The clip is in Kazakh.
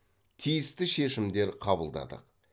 тиісті шешімдер қабылдадық